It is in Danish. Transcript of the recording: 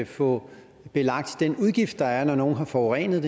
få lagt den udgift der er når nogle har forurenet